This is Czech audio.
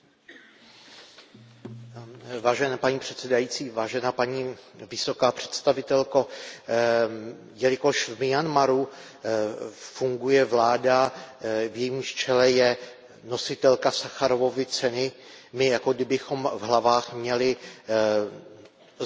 Paní předsedající, paní vysoká představitelko, jelikož v Myanmaru funguje vláda, v jejímž čele je nositelka Sacharovovy ceny, my jako kdybychom v hlavách měli zaškrtnuto, že máme odpracováno.